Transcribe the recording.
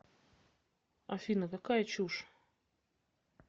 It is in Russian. афина какая чушь